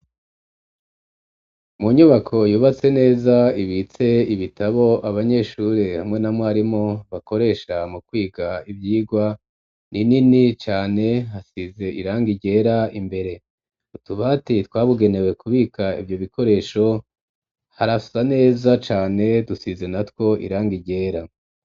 Mu nyubako yubatse neza, ibitse ibitabo abanyeshuri hamwe na mwarimu bakoresha mu kwiga ivyigwa, ni nini cane hasize irangi ryera imbere, utubati twabugenewe kubika ivyo bikoresho harasa neza cane, dusize natwo irangi ryera.